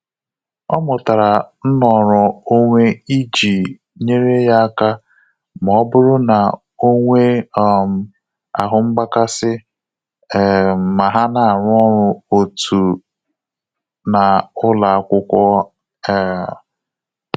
Ọ mụtara nnọrọ onwe iji nyere ya aka ma ọ bụrụ na onwe um ahụ mgbakasị um ma ha na arụ ọrụ otu na ụlọakwụkwọ um